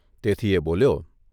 તેથી એ બોલ્યો.